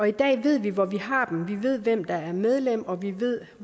i dag ved vi hvor vi har dem vi ved hvem der er medlem og vi ved